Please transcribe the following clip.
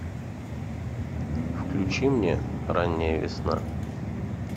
включи мне ранняя весна